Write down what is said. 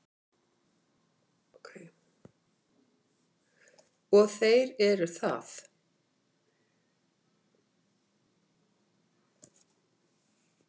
Og þeir eru það.